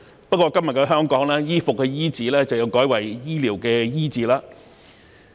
不過，今日的香港，衣服的"衣"字要改為醫療的"醫"字。